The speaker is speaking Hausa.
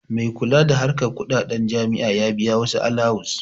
Mai kula da harkan kuɗaɗen jami'a ya biya wasu alawus